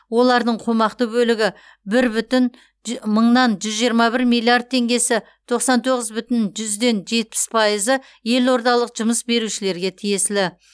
олардың қомақты бөлігі бір бүтін мыңнан жүз жиырма бір миллиард теңгесі тоқсан тоғыз бүтін жүзден жетпіс пайызы елордалық жұмыс берушілерге тиесілі